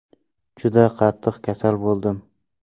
Juda qattiq kasal bo‘ldim.